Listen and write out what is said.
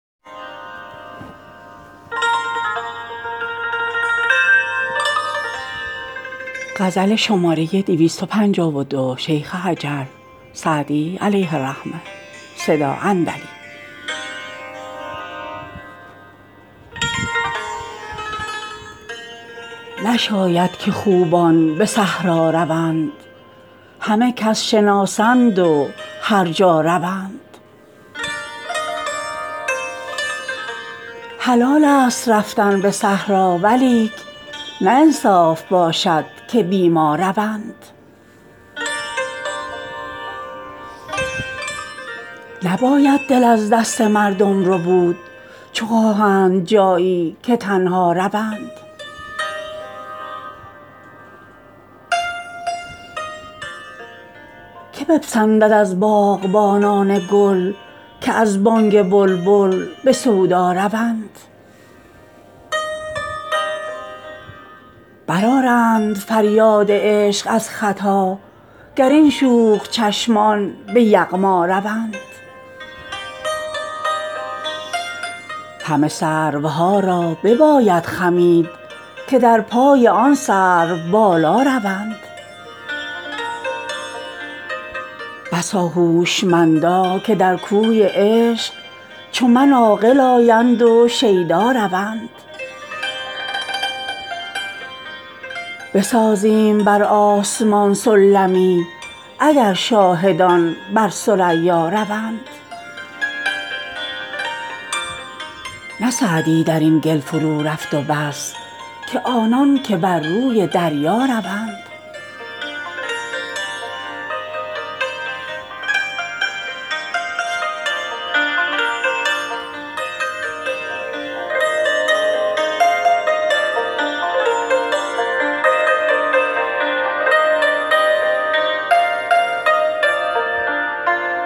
نشاید که خوبان به صحرا روند همه کس شناسند و هر جا روند حلالست رفتن به صحرا ولیک نه انصاف باشد که بی ما روند نباید دل از دست مردم ربود چو خواهند جایی که تنها روند که بپسندد از باغبانان گل که از بانگ بلبل به سودا روند برآرند فریاد عشق از ختا گر این شوخ چشمان به یغما روند همه سروها را بباید خمید که در پای آن سروبالا روند بسا هوشمندا که در کوی عشق چو من عاقل آیند و شیدا روند بسازیم بر آسمان سلمی اگر شاهدان بر ثریا روند نه سعدی در این گل فرورفت و بس که آنان که بر روی دریا روند